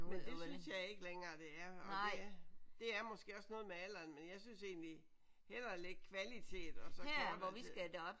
Men det synes jeg ikke længere det er og det det er måske også noget med alderen men jeg synes egentlig hellere ligge kvalitet og så kortere tid